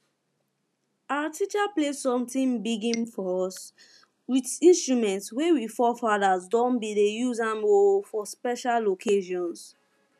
our teacher play something um for us with instrument wey we forefathers um bin dey use um for special occassions